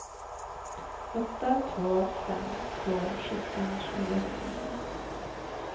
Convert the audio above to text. åtta två fem två sjutton sjuhundrafyrtionio